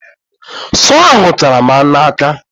Sọọ ahụ chara m n'aka.